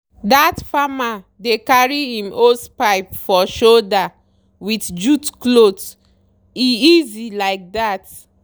that farmer dey carry im hosepipe for shoulder with jute cloth—e easy like that.